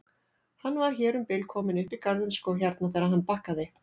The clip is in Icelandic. Hann var hér um bil kominn upp í garðinn sko hérna þegar hann bakkaði.